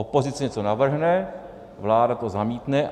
Opozice něco navrhne, vláda to zamítne.